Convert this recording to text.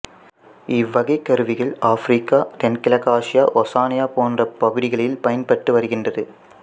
இவ்வகைக் கருவிகள் ஆப்பிரிக்கா தென்கிழக்காசியா ஓசானியா போன்ற பகுதிகளில் பயன்பட்டு வருகின்றது